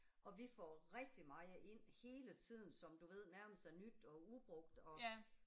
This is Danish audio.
Og vi får rigtig meget ind hele tiden som du ved nærmest er nyt og ubrugt og